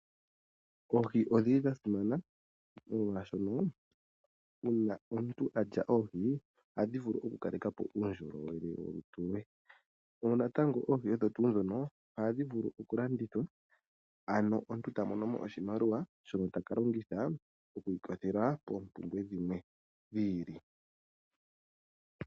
Oohi odhili dha simana molwaashono ngele omuntu alya oohi ohadhi vulu oku kaleka po uundjolowele we. Oohi odho tuu ndhono ohadhi vulu oku landithwa ano omuntu eta monomo oshimaliwa shono taka longitha oku iikwathela koompumbwe dhimwe dhi ili.